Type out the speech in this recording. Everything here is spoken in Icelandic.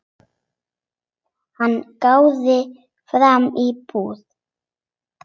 Hann gáði fram í búð.